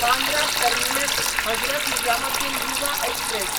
Bandra terminus Hazrat Nizamuddin Yuva express